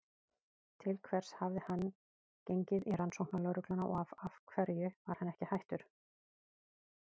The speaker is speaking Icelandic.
Til hvers hafði hann gengið í Rannsóknarlögregluna og af hverju var hann ekki hættur?